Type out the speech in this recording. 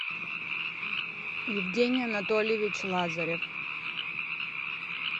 евгений анатольевич лазарев